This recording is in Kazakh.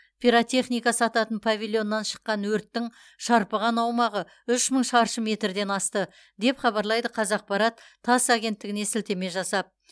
пиратехника сататын павильоннан шыққан өрттің шарпыған аумағы үш мың шаршы метрден асты деп хабарлайды қазақпарат тасс агенттігіне сілтеме жасап